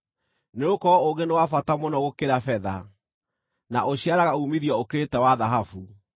nĩgũkorwo ũũgĩ nĩ wa bata mũno gũkĩra betha, na ũciaraga uumithio ũkĩrĩte wa thahabu.